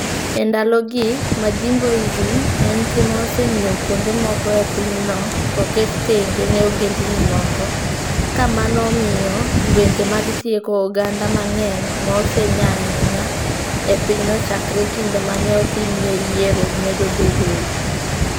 E ndalogi, "Majimboism" en tim ma osemiyo kuonde moko e pinyno oket tenge ne ogendini moko, ka mano miyo lwenje mag tieko oganda mang'eny ma osenya ahinya e pinyno chakre kinde ma ne otimie yiero, medo bedoe.